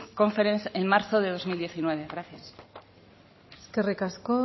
conference en marzo del dos mil diecinueve gracias eskerrik asko